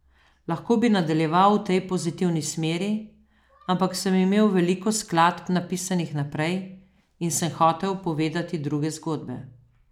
Lahko bi nadaljeval v tej pozitivni smeri, ampak sem imel veliko skladb napisanih vnaprej in sem hotel povedati druge zgodbe.